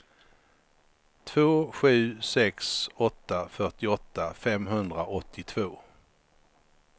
två sju sex åtta fyrtioåtta femhundraåttiotvå